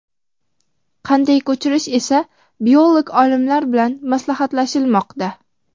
qanday ko‘chirish esa biolog olimlar bilan maslahatlashilmoqda.